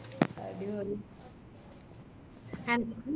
അടിപൊളി എനക്ക്